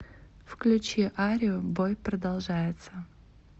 включи арию бой продолжается